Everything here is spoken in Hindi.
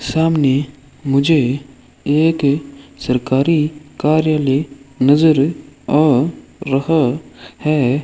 सामने मुझे एक सरकारी कार्यालय नजर आ रहा है।